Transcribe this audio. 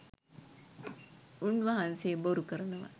උන්වහන්සේ බොරු කරනවා